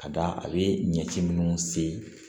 Ka da a be ɲɛci munnu se